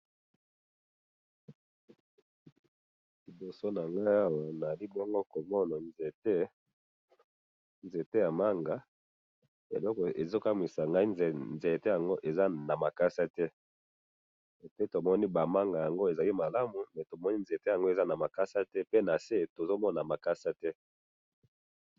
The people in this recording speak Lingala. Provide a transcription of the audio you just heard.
libosonangaawa nalibongo komona nzetee nzeteyamanga eloko ezokamisangayi nzeteyango ezanamakasate epuwi tomoni bamanga yango ezamalamu mais tomoni nzeteyango ezanamakasate mais pe nase tozomona makasate